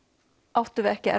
áttum við ekki